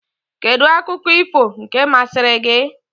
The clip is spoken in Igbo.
Kedụ akụkọ ifo nke mmasịri gị?